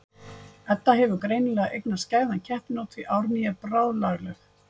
Edda hefur greinilega eignast skæðan keppinaut því að Árný er bráðlagleg.